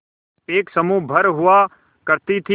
एक समूह भर हुआ करती थी